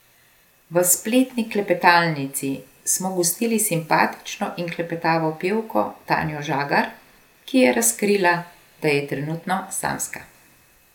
V spletni klepetalnici smo gostili simpatično in klepetavo pevko Tanjo Žagar, ki je razkrila, da je trenutno samska.